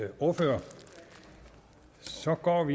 ordfører så går vi